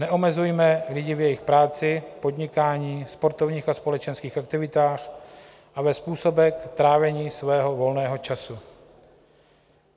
Neomezujme lidi v jejich práci, podnikání, sportovních a společenských aktivitách a ve způsobech trávení svého volného času.